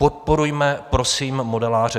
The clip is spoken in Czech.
Podporujme prosím modeláře.